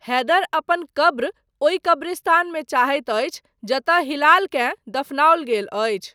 हैदर अपन कब्र ओहि कब्रिस्तानमे चाहैत अछि जतय हिलालकेँ दफनाओल गेल अछि।